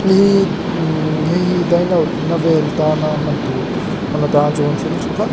hei hi dine out na vel a tan a hman tur hman a tan chuan thil tha tak --